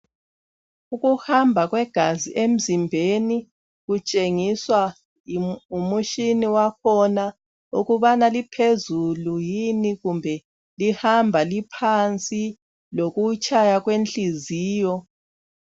Ukuhamba kwegazi emzimbeni kutshengiswa ngumutshini wakhona ukubana liphezulu yini kumbe lihamba liphansi lokutshaya kwenhliziyo